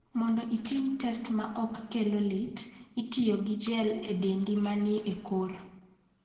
Mondo itim test ma ok kelo lit, itiyo gi gel e dendi ma ni e kor.